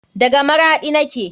Daga maraɗi take.